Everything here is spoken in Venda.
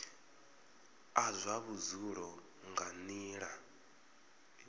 a zwa vhudzulo nga nila